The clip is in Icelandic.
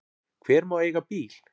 Hver má eiga bíl?